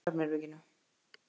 Margrét í svefnherberginu.